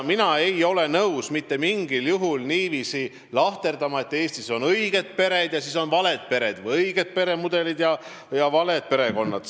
Mina ei ole mitte mingil juhul nõus niiviisi lahterdama, et Eestis on õiged pered ja on valed pered või õiged peremudelid ja valed peremudelid.